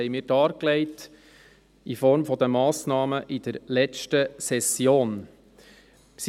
Dies haben wir in Form von Massnahmen in der letzten Session dargelegt.